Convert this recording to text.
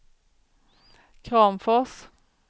Kramfors